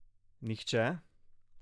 Nihče?